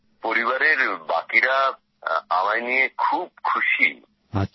পরিবারের বাকিরা আমায় নিয়ে খুব খুশীই